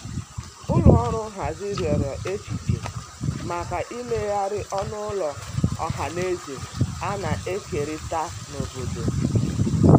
ụlọ ọrụ nhazi riọrọ echiche maka imeghari ọnụ ụlọ ohanaeze ana ekerita n'obodo